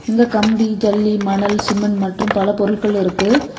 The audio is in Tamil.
இங்க கம்பி ஜெல்லி மணல் சிமெண்ட் மற்றும் பல பொருள்கள் இருக்கு.